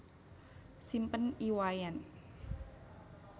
Simpen I Wayan